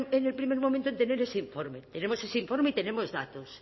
en el primer momento en tener ese informe tenemos ese informe y tenemos datos